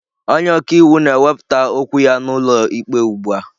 Onye ọka iwu na-ewepụta okwu ya n'ụlọ ikpe ugbu a.